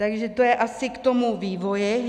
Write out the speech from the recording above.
Takže to je asi k tomu vývoji.